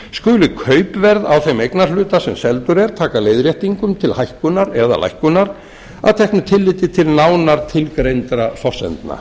skuli kaupverð á þeim eignarhluta sem seldur er taka leiðréttingum til hækkunar eða lækkunar að teknu tilliti til nánar tilgreindra forsendna